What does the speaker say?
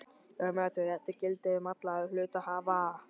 Umræddur réttur gildir um alla hluthafa.